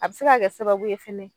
A bi se ka kɛ sababu ye fɛnɛ